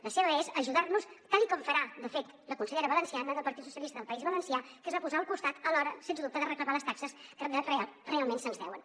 la seva és ajudar nos tal com farà de fet la consellera valenciana del partit socialista del país valencià que es va posar al costat a l’hora sense dubte de reclamar les taxes que realment se’ns deuen